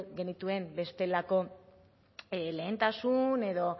genituen bestelako lehentasun